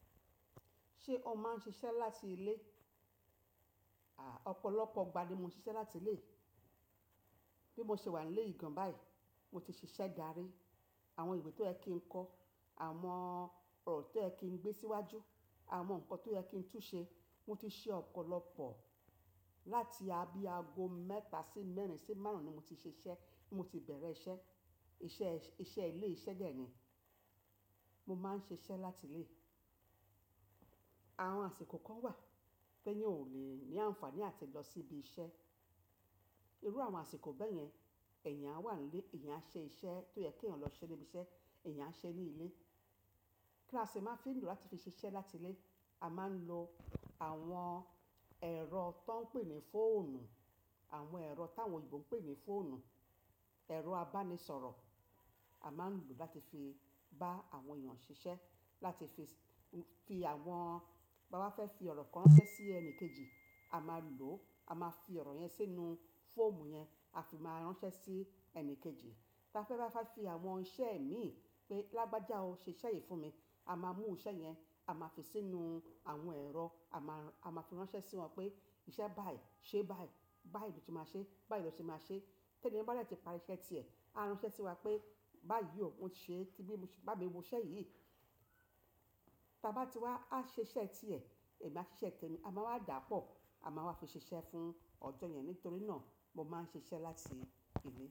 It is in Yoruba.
Ṣé o máa ń ṣiṣẹ́ láti ilé? À, ọ̀pọ̀lọpọ̀ ìgbà ni mo ṣiṣẹ́ láti ilé. Bí mo ṣe wà nílé ìgan báyìí, mo ti ṣiṣẹ́ dárí. Àwọn ìwé tó ẹ́ kín kọ, àwọn ọ̀rọ̀ tó ẹ́ kín gbé síwájú, àwọn nǹkan tó ẹ́ kín túṣe, mo ti ṣe ọ̀pọ̀lọpọ̀. Láti abíágo mẹ́ta sí mẹ́rin sí márùn-ún ni mo ti ṣiṣẹ́, mo ti bẹ̀rẹ̀ iṣẹ́. Iṣẹ́, iṣẹ́ ilé iṣẹ́ dè ẹ́ ni. Mo máa ń ṣiṣẹ́ láti ilé. Àwọn àsìkò kan wà pé ni ọ ò le ní àǹfààní àti lọ sí ibi iṣẹ́. Irú àwọn àsìkò bẹ́ẹ̀ yẹn, èèyàn á wà nílé, èèyàn á ṣe iṣẹ́ tó yẹ kí ọ̀ lọ sí ibi iṣẹ́, èèyàn á ṣe ní ilé. Kí ló ṣe a máa ń fi lò láti fi ṣiṣẹ́ láti ilé? A máa ń lo àwọn ẹ̀rọ tó ń pè ní fóònù, àwọn ẹ̀rọ táwọn òyìnbó ń pè ní fóònù, ẹ̀rọ abánisọ̀rọ̀. A máa ń lò ó láti fi bá àwọn èèyàn ṣiṣẹ́, láti fi fi àwọn, bá wá fẹ́ fi ọ̀rọ̀ kan ránṣẹ́ sí ẹnì kejì, a máa lò ó. A máa fi ọ̀rọ̀ yẹn sínú fóòmù yẹn, a fi máa ránṣẹ́ sí ẹni kejì. Tí a fẹ́ bá fẹ́ fi àwọn iṣẹ́ mi pé, "Lágbájá o ṣe iṣẹ́ yìí fún mi." A máa mú iṣẹ́ yẹn, a máa fi sínú àwọn ẹ̀rọ, a máa, a máa fi ránṣẹ́ sí wọn pé, "Iṣẹ́ bá yìí ṣe bá yìí, bá yìí ni o ti máa ṣe, bá yìí lọ ṣe máa ṣe." Tí ẹniyen bá dẹ́ ti parí iṣẹ́ ti ẹ̀, á ránṣẹ́ sí wa pé, "Bá yii o, mo ṣe ti bí mo ṣe, bá mi mú iṣẹ́ yìí." Tí a bá ti wá, a ṣe iṣẹ́ ti ẹ̀, èmi á ṣe iṣẹ́ ti èmi. A máa wá dàpọ̀, a máa wá fi ṣiṣẹ́ fún ọjọ́ yẹn. Nítorí náà mo máa ń ṣiṣẹ́ láti ilé.